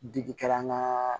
Digi kɛra an ka